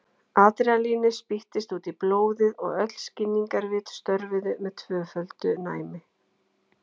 Adrenalínið spýttist út í blóðið og öll skilningarvit störfuðu með tvöföldu næmi.